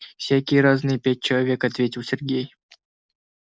всякие разные пять человек ответил сергей